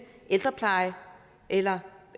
ældrepleje eller